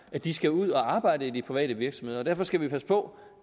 at de skal ud at arbejde i de private virksomheder og derfor skal vi passe på